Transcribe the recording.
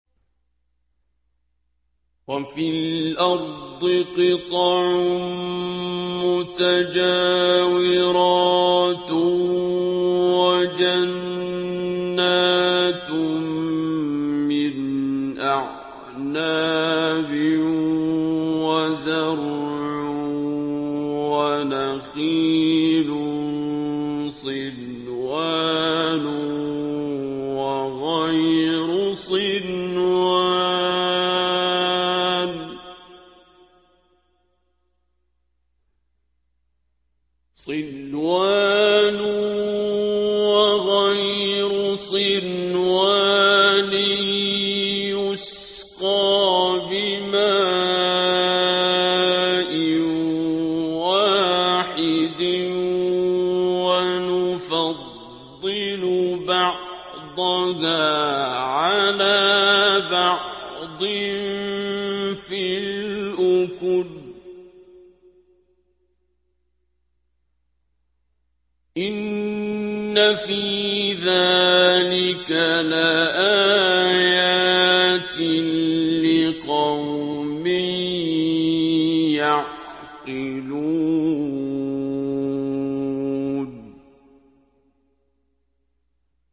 وَفِي الْأَرْضِ قِطَعٌ مُّتَجَاوِرَاتٌ وَجَنَّاتٌ مِّنْ أَعْنَابٍ وَزَرْعٌ وَنَخِيلٌ صِنْوَانٌ وَغَيْرُ صِنْوَانٍ يُسْقَىٰ بِمَاءٍ وَاحِدٍ وَنُفَضِّلُ بَعْضَهَا عَلَىٰ بَعْضٍ فِي الْأُكُلِ ۚ إِنَّ فِي ذَٰلِكَ لَآيَاتٍ لِّقَوْمٍ يَعْقِلُونَ